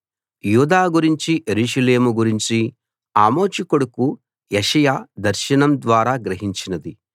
యూదా గురించి యెరూషలేము గురించి ఆమోజు కొడుకు యెషయా దర్శనం ద్వారా గ్రహించినది